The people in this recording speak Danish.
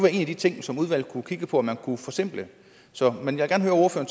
en af de ting som udvalget kunne kigge på om man kunne forsimple men jeg